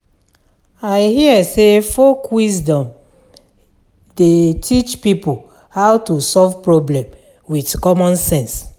I hear sey folk wisdom dey teach pipo how to solve problem wit common sense.